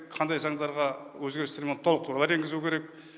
қандай заңдарға өзгерістер мен толықтырулар енгізу керек